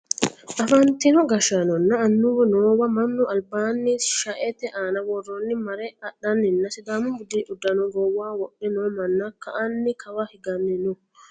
afantino gashshaanonna annuwu noowa mannu albaanni shaete aana worroonniha mare adhannanna sidaamu budu uddano goowaho wodhe noo manni ka'anna kawa higanni no